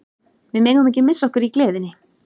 Við megum ekki missa okkur í gleðinni.